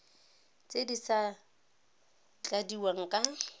tse di sa tladiwang ka